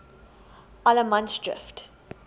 allemansdrift